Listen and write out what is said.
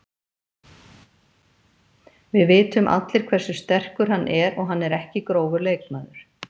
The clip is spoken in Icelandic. Við vitum allir hversu sterkur hann er og hann er ekki grófur leikmaður.